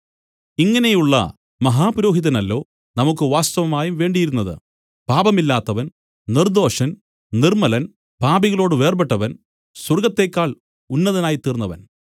ഇങ്ങനെയുള്ള മഹാപുരോഹിതനല്ലോ നമുക്കു വാസ്തവമായും വേണ്ടിയിരുന്നത് പാപമില്ലാത്തവൻ നിർദ്ദോഷൻ നിർമ്മലൻ പാപികളോട് വേർപെട്ടവൻ സ്വർഗ്ഗത്തെക്കാൾ ഉന്നതനായിത്തീർന്നവൻ